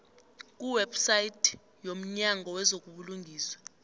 kuwebsite yomnyango wezobulungiswa